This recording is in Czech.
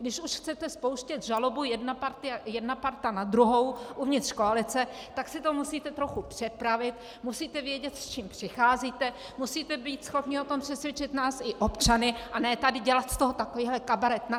Když už chcete spouštět žalobu jedna parta na druhou uvnitř koalice, tak si to musíte trochu připravit, musíte vědět, s čím přicházíte, musíte být schopni o tom přesvědčit nás i občany, a ne tady dělat z toho takovýhle kabaret.